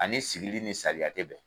Ani sigili ni saliya te bɛn.